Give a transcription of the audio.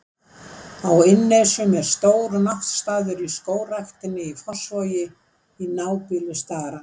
Á Innnesjum er stór náttstaður í Skógræktinni í Fossvogi, í nábýli starans.